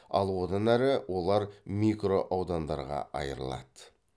ал одан әрі олар микро аудандарға айырылады